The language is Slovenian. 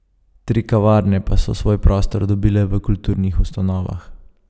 Tri kavarne pa so svoj prostor dobile v kulturnih ustanovah.